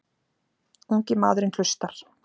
Ungi maðurinn hlustar.